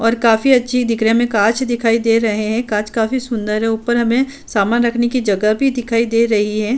और काफी अच्‍छे दिख रहे हैं। हमें कांँच दिखाई दे रहे हैं। काँच काफी सुन्‍दर हैं। ऊपर हमें सामान रखने की जगह भी दिखाई दे रही है।